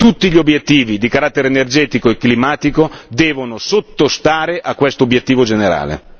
Tutti gli obiettivi di carattere energetico e climatico devono sottostare a questo obiettivo generale!